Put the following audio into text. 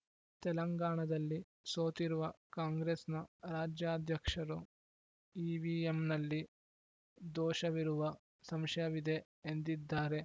ತೆಲಂಗಾಣದಲ್ಲಿ ಸೋತಿರುವ ಕಾಂಗ್ರೆಸ್‌ನ ರಾಜ್ಯಾಧ್ಯಕ್ಷರು ಇವಿಎಂನಲ್ಲಿ ದೋಷವಿರುವ ಸಂಶಯವಿದೆ ಎಂದಿದ್ದಾರೆ